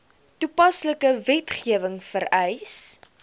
toepaslike wetgewing vereis